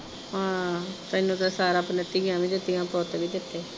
ਹਾਂ ਤੈਨੂੰ ਤਾਂ ਸਾ ਰੱਬ ਨੇ ਧੀਆਂ ਵੀ ਦਿੱਤੀਆ ਪੁੱਤ ਵੀ ਦਿੱਤੇ।